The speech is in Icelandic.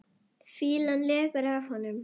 Fýlan lekur af honum.